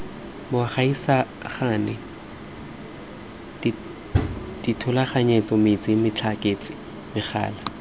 bogaisani dithulaganyetso metsi motlakase megala